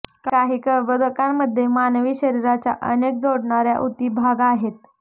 काही कर्बोदकांमधे मानवी शरीराच्या अनेक जोडणार्या उती भाग आहेत